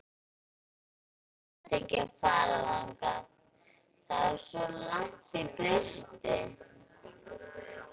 Nonni nennti ekki að fara þangað, það var svo langt í burtu.